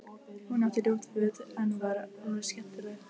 Hún átti ljót föt en var alveg skemmtileg.